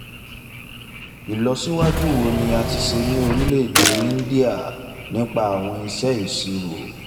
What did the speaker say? ìlọsíwájú wo ni a ti ṣe ní orílẹ̀-èdè íńdíà nípa àwọn ìṣe ìṣirò?